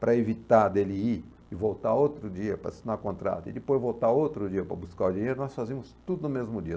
para evitar dele ir e voltar outro dia para assinar o contrato, e depois voltar outro dia para buscar o dinheiro, nós fazíamos tudo no mesmo dia.